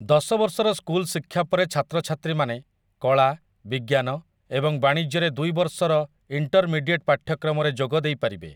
ଦଶ ବର୍ଷର ସ୍କୁଲ ଶିକ୍ଷା ପରେ ଛାତ୍ରଛାତ୍ରୀମାନେ କଳା, ବିଜ୍ଞାନ, ଏବଂ ବାଣିଜ୍ୟରେ ଦୁଇ ବର୍ଷର ଇଣ୍ଟର୍ମିଡିଏଟ୍ ପାଠ୍ୟକ୍ରମରେ ଯୋଗ ଦେଇପାରିବେ ।